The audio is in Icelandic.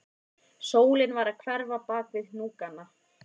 Sólin var að hverfa bak við hnúkana